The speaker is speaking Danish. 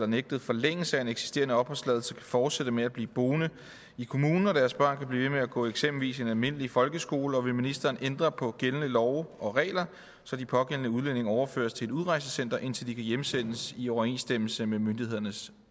nægtet forlængelse af en eksisterende opholdstilladelse kan fortsætte med at blive boende i kommunen og deres børn kan blive ved med at gå i eksempelvis en almindelig folkeskole og vil ministeren ændre på gældende love og regler så de pågældende udlændinge overføres til et udrejsecenter indtil de kan hjemsendes i overensstemmelse med myndighedernes